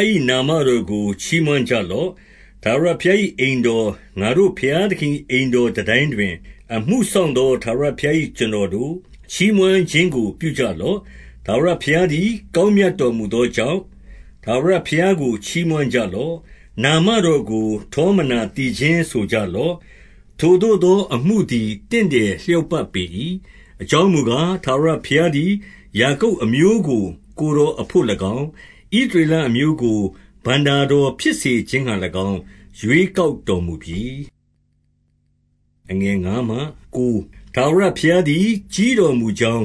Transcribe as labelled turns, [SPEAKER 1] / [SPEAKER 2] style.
[SPEAKER 1] ား၏ နာမတော်ကို ချီးမွမ်းကြ လော့။ 2 ထာဝရဘုရား၏ အိမ်တော်၊ ငါတို့ ဘုရား သခင်၏ အိမ်တော်တန်တိုင်းတွင် အမှုစောင့်သော ထာဝရဘုရား၏ ကျွန်တော်တို့၊ ချီးမွမ်း ခြင်းကိုပြုကြ လော့။ 3 ထာဝရဘုရားသည် ကောင်းမြတ်တော်မူသော ကြောင့်၊ ထာဝရဘုရားကို ချီးမွမ်းကြလော့။ နာမတော်ကို ထောမနာသီချင်းဆိုကြလော့။ ထိုသို့သော အမှုသည် တင့်တယ်လျောက်ပတ်ပေ၏။ 4 အကြောင်းမူကား၊ ထာဝရဘုရားသည် ယာကုပ် အမျိုးကို ကိုယ်တော်အဘို့၎င်း၊ ဣသရေလအမျိုးကို ဘဏ္ဍာတော်ဖြစ်စေခြင်းငှါ၎င်း ရွေးကောက်တော်မူပြီ။ 5 ထာဝရဘုရားသည် ကြီးတော်မူကြောင်း